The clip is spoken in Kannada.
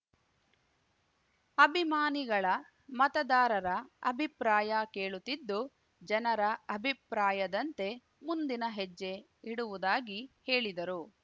ಅಭಿಮಾನಿಗಳ ಮತದಾರರ ಅಭಿಪ್ರಾಯ ಕೇಳುತ್ತಿದ್ದು ಜನರ ಅಭಿಪ್ರಾಯದಂತೆ ಮುಂದಿನ ಹೆಜ್ಜೆ ಇಡುವುದಾಗಿ ಹೇಳಿದರು